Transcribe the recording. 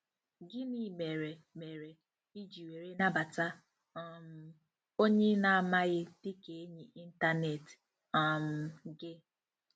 Gịnị mere mere, iji were nabata um onye ị na-amaghị dị ka enyi ịntanetị um gị?